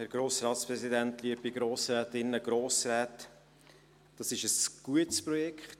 Das Projekt, über das Sie jetzt gleich abstimmen werden, ist ein gutes Projekt.